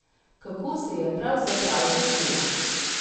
Kako se je pravzaprav začela?